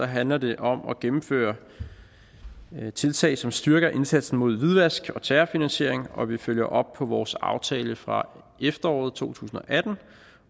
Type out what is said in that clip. handler det om at gennemføre tiltag som styrker indsatsen mod hvidvask og terrorfinansiering og vi følger op på vores aftale fra efteråret to tusind og atten